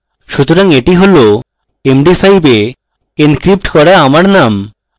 সুতরাং এটি হল md5 এ encrypted করা আমার name